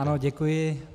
Ano, děkuji.